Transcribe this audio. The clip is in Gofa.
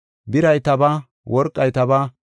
Biray tabaa; worqay tabaa.